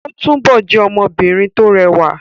Óò túbọ̀ jẹ́ ọmọbìnrin tó rẹwà